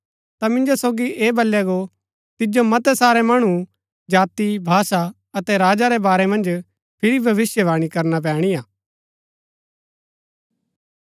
ता मिंजो सोगी ऐह बलया गो तिजो मतै सारै मणु जाति भाषा अतै राजा रै बारै मन्ज फिरी भविष्‍यवाणी करनी पैणी हा